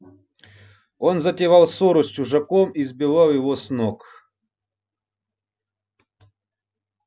он затевал ссору с чужаком и сбивал его с ног